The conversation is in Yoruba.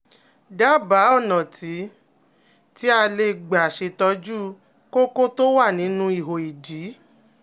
Dábàá, ọ̀nà tí tí a lè gbà ṣètọ́jú kókó tó wà nínú ihò ìdí